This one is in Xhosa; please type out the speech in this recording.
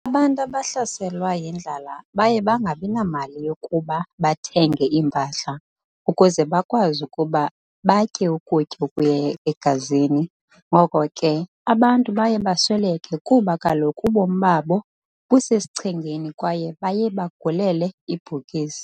Abantu abahlaselwa yindlala baye bangabina mali yokuba bathenge impahla ukuze bakwazi ukuba batyeukutya okuya egazini ngoko ke abantu baye basweleke kuba kaloku ubomi babo busesichengeni kwaye baye bagulele ibhokisi